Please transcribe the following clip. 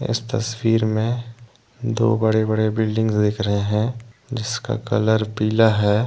इस तस्वीर में दो बड़े बड़े बिल्डिंग दिख रहे है जिसका कलर पीला है।